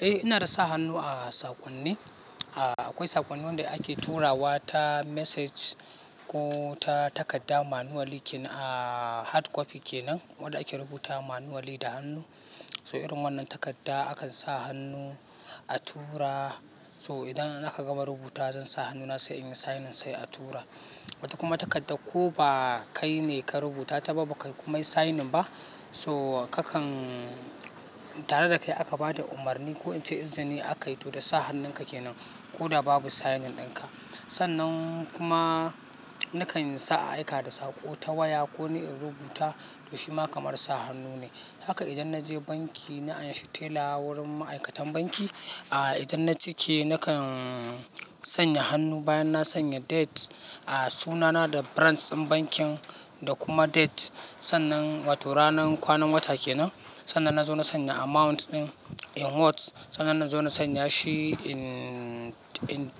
Eh, ina dasa hannu a sakonni. Akwai sakonni wanda ake turawa ta message ko ta takarda manually kenan a hard copy kenan wanda ake rubuta ma manually da hannu. So irin wannan takarda akan sa hannu a tura. To idan aka gama rubutuwa zan sa hannuna sai inyi signing sai a tura, wata kuma takardar ko ba kaine ka rubutata ta ba, baka kuma yi signing ba, tare da kai aka bada umarni ko ince izini akai to da sa hannunka kenan koda babu signing dinka. Sannan kuma nakan sa a aika da saƙo ta waya ko ni in rubuta to shi ma kamar sa hannu ne. Haka idan naje banki na anshi teller a wurin ma'aikatan banki idan na cike nakan sanya hannu bayan na sanya date, sunana da branch in bankin da kuma date wato kwanan wata kenan. Sannan na zo na sanya amount ɗin in words. Sannan na zo na sanya shi in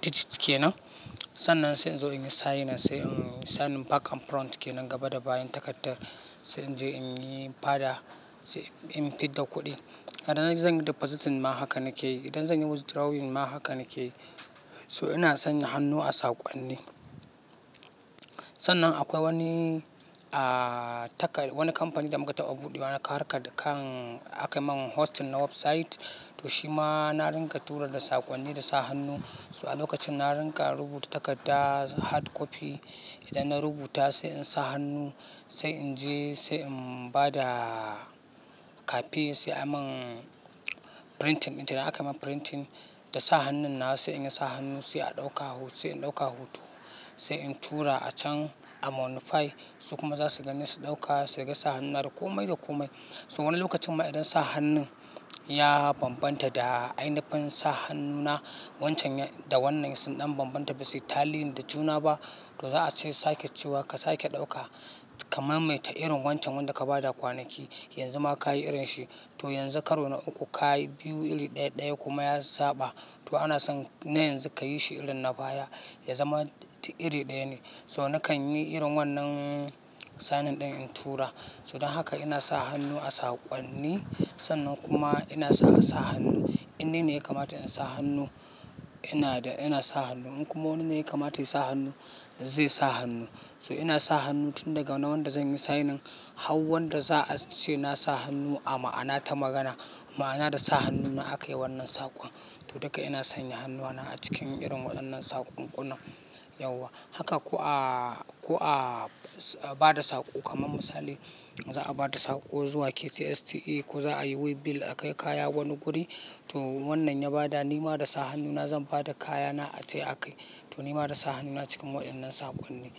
digits kenan. Sannan sai in zo in yi signing, sai in yi signing back and front kenan gaba da bayan takardar. Sai in je in yi fada sai in fid da kuɗin. Idan zan yi depositing ma haka nake yi. Idan zan yi withdrawing ma haka nake yi. So ina sanya hannu a sakonni. Sannan akwai wani a takar wani kamfani da muka taɓa buɗewa, naka harka kan aka yi min hosting na website. To shi ma na ringa tura da sakonni da sa hannu. So a lokacin na ringa rubuta takarda hard copy. Idan na rubuta sai in sa hannu, sai in je sai in ba da cafe sai anyi min printing. Idan aka yi min printing da sa hannun na sai in yi sa hannu sai in ɗauka hoto, sai in tura a chan amount five. Su kuma za su gani su ɗauka sai su ga sa hannuna da komai da komai. So wannan lokacin ma idan sa hannun ya bambanta da ainifin sa hannuna wancan da wannan sun ɗan bambanta basu yi talliyin da juna ba, to za a ce sake cewa ka sake ɗauka kamar maita irin wancan wanda ka ba da kwanaki. Yanzu ma kayi irinsi toh yanzu karo na uku kayi biyu iri ɗaya, ɗaya kuma ya saɓa toh ana son na yanzu kayishi irin na baya ya zama iri ɗaya ne. So nakan yi irin wannan signin ɗin in tura. So don haka ina sa hannu a sakonni. Sannan kuma ina san sa hannu. Ine ne ya kamata in sa hannu ina da ina sa hannu. In kuma wani ne ya kamata ya sa hannu, zai sa hannu. So ina sa hannu tun daga wanda zan yi signing har wanda za a ce na sa hannu a ma'ana ta magana. Ma'ana da sa hannuna aka yi wannan sakon. To duka ina sanya hannuwana acikin irin wayennan saƙonƙunan haka ko'a, ko'a ba da saƙo kamar misali za a ba da saƙo zuwa KTSTE ko za a yi way bill akai kaya wani guri. To wannan ya ba da nima da sa hannuna zan ba da kayana aje akai. To nima da sa hannuna cikin waɗannan sakonni.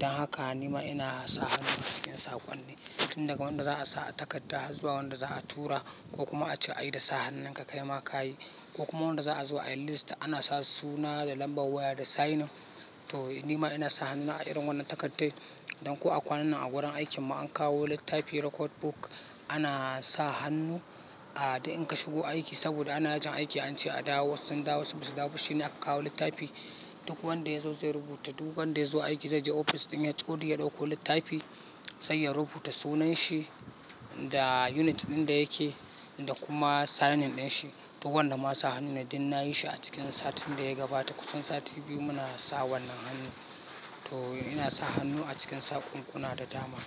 Don haka nima ina sa hannuna a cikin sakonni. Tun daga wanda za a sa a takarda zuwa wanda za a tura ko kuma a ce ayi da sa hannunka kai ma ka yi. Ko kuma wanda za'a zo ayi list ana sa suna da nambar waya da signing to nima ina sa hannuna a irin wannan takaddai. Don ko a kwanannan a wurin aikin mu an kawo littafi record book, ana sa hannu a da in ka shigo aiki saboda ana yajin aiki an ce a dawo. Wasu sun dawo wasu basu dawo shi ne aka kawo littafi. Duk wanda ya zo zai rubuta. Du wanda ya zo aiki zai je ofis ɗin H.O.D ya ɗauko littafi sai ya rubuta sunnan shi da unit din da yake da kuma signing dinshi, to wannnan ma sa hannu ne du nayi shi a cikin satin da yagabata kusan satin biyu muna sa wannan hannu. To ina sa hannu a cikin sakonkunna da dama.